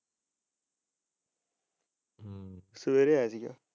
ਸਵੇਰੇ ਆਏ ਸੀ ਗਏ।